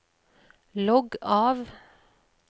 logg av